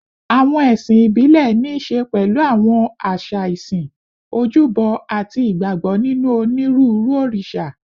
Àwọn ẹ̀sìn ìbílẹ̀ ní í ṣe pẹ̀lú àwọn àṣà ìsìn, ojúbọ, àti ìgbàgbọ́ nínú onírúurú òrìṣà